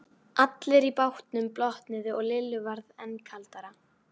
Allir í bátnum blotnuðu og Lillu varð enn kaldara.